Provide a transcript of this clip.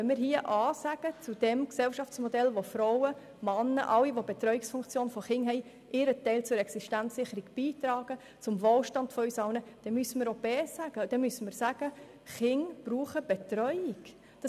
Wenn wir A sagen zu einem Gesellschaftsmodell, in dem Frauen, Männer, alle mit einer Kinderbetreuungsfunktion zur Existenzsicherung und unserem Wohlstand beitragen, müssen wir auch B sagen und dann müssen wir sagen, dass Kinder Betreuung brauchen.